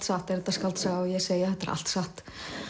satt er þetta skáldsaga og ég segi þetta er allt satt